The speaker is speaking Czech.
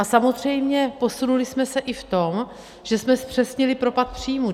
A samozřejmě posunuli jsme se i v tom, že jsme zpřesnili propad příjmů.